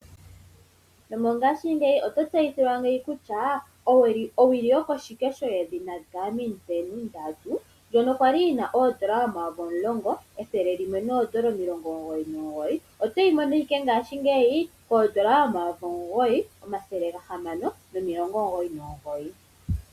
Nomongaashingeyi oto tseyithilwa kutya owili yoko shikesho yedhina Garmin Venu 3 ndjono kwali yina oondola omayovi omulongo ethele limwe noondola omugoyi nomugoyi otoyi mono ashike ngaashingeyi koondola omayovi omugoyi omathele gahamano nomilongo omugoyi nomugoyi.